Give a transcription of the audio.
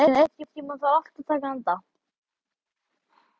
Bergrín, einhvern tímann þarf allt að taka enda.